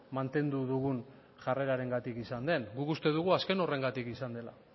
mantendu dugun jarrerengatik izan den guk uste dugu azken horrengatik izan dela